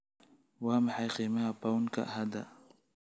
Waa maxay qiimaha pound-ka hadda?